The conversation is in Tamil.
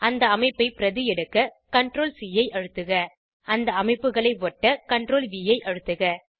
அந்த அமைப்பை பிரதி எடுக்க CTRL C ஐ அழுத்துக அந்த அமைப்புகளை ஒட்ட CTRL வி ஐ அழுத்துக